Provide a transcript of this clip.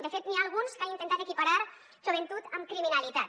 de fet n’hi ha alguns que han intentat equiparar joventut amb criminalitat